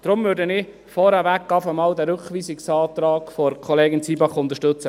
Deshalb würde ich vorweg einmal den Rückweisungsantrag von Kollegin Zybach unterstützen.